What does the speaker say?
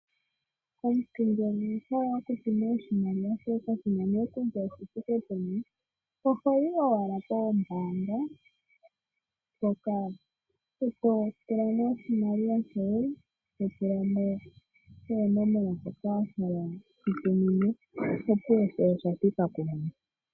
Omuntu ngele owa hala okutuma oshimaliwa shoye, kashi na nduno kutya oshithike peni, oho yi owala poombaanga, to tula mo oshimaliwa shoye, to tula mo oonomola ndhoka wa hala wu shi tumine, sho osha thika kumwene.